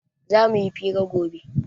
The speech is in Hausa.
Zamu yi fira gobe